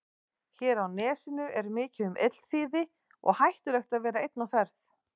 Hér á nesinu er mikið um illþýði og hættulegt að vera einn á ferð.